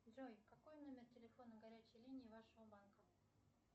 джой какой номер телефона горячей линии вашего банка